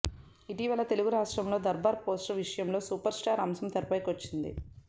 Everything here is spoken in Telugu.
ఇటీవల తెలుగు రాష్ట్రం లో దర్బార్ పోస్టర్ విషయం లో సూపర్ స్టార్ అంశం తెరపైకి వచ్చింది